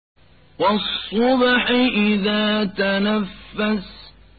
وَالصُّبْحِ إِذَا تَنَفَّسَ